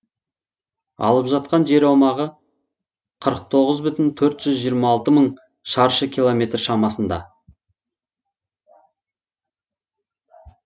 алып жатқан жер аумағы қырық тоғыз бүтін төрт жүз жиырма алты мың шаршы километр шамасында